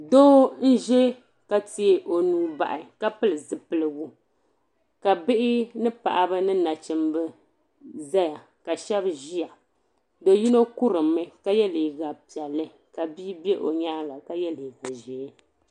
doo m ʒiya ka tee o nuu bahi ka pili zipiligu ka bihi ni paɣaba ni nachimbi ʒɛya ka shab ʒiya do yino kurimmi ka yɛ liiga piɛlli ka bia bɛ o nyaanga ka yɛ liiga ʒiɛ